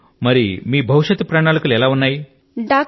ఓ మీ భవిష్యత్తు ప్రణాళిక లు ఏమిటి